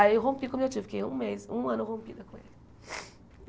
Aí eu rompi com o meu tio, fiquei um mês, um ano rompida com ele.